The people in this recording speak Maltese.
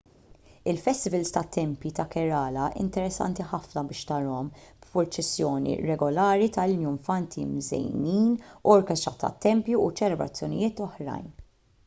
il-festivals tat-tempji ta' kerala interessanti ħafna biex tarahom b'purċissjoni regolari ta' iljunfanti mżejnin orkestra tat-tempju u ċelebrazzjonijiet oħrajn